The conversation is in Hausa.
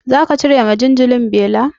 Zaka cire wa jinjirin beli?